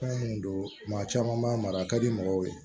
Fɛn mun don maa caman b'a mara a ka di mɔgɔw ye